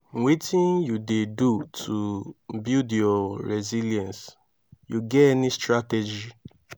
wetin you dey do to build your resilience you get any strategy?